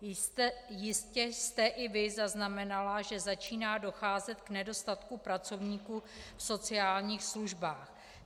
Jistě jste i vy zaznamenala, že začíná docházet k nedostatku pracovníků v sociálních službách.